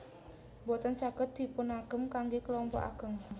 Boten saged dipunagem kanggé kelompok ageng